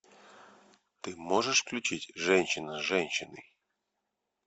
ты можешь включить женщина с женщиной